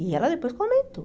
E ela depois comentou.